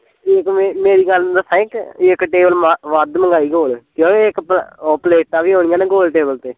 ਜੇ ਤੂੰ ਮੇਰੀ ਗੱਲ ਦੱਸਾਂ ਇੱਕ ਇੱਕ table ਵਾਧੂ ਮਗਾਈ ਕੋਲ ਕਿਓ ਇੱਕ ਪਲੇਟਾਂ ਵੀ ਹੋਣੀਆ ਗੋਲ table ਤੇ